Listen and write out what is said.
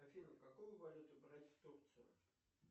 афина какую валюту брать в турцию